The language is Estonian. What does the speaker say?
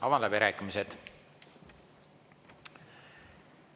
Avan läbirääkimised.